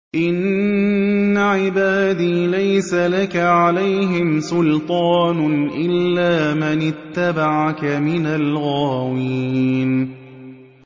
إِنَّ عِبَادِي لَيْسَ لَكَ عَلَيْهِمْ سُلْطَانٌ إِلَّا مَنِ اتَّبَعَكَ مِنَ الْغَاوِينَ